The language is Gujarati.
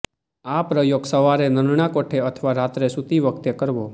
આ પ્રયોગ સવારે નરણાકોઠે અથવા રાત્રે સૂતી વખતે કરવો